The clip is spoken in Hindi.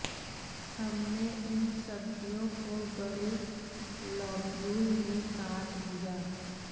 हमने इन सब्ज़ियों को बड़े लॉब्यूल में काट दिया